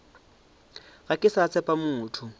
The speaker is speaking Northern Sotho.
ga ke sa tshepa motho